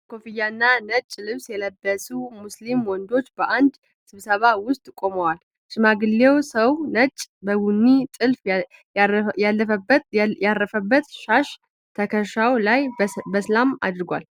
ነጭ ኮፍያና ነጭ ልብስ የለበሱ ሙስሊም ወንዶች በአንድ ስብስብ ውስጥ ቆመዋል። ሽማግሌው ሰው ነጭ በቡኒ ጥልፍ ያለበት ሻሽ ትከሻው ላይ በሰላም አድርጓል፤